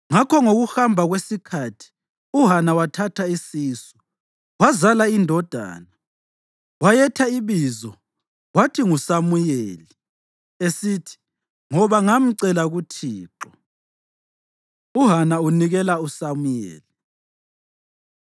Ngakho ngokuhamba kwesikhathi uHana wathatha isisu wazala indodana. Wayetha ibizo wathi nguSamuyeli, esithi, “Ngoba ngamcela kuThixo.” UHana Unikela USamuyeli